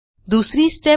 दुसरी स्टेप